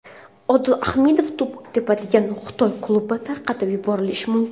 Odil Ahmedov to‘p tepadigan Xitoy klubi tarqatib yuborilishi mumkin.